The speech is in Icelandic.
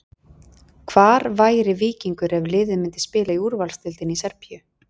Hvar væri Víkingur ef liðið myndi spila í úrvalsdeildinni í Serbíu?